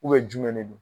jumɛn de don